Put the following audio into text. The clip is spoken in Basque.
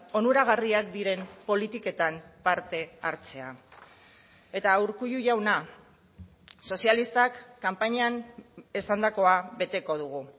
onuragarriak diren politiketan parte hartzea eta urkullu jauna sozialistak kanpainan esandakoa beteko dugu